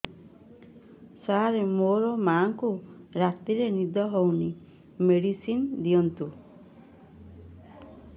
ସାର ମୋର ମାଆଙ୍କୁ ରାତିରେ ନିଦ ହଉନି ମେଡିସିନ ଦିଅନ୍ତୁ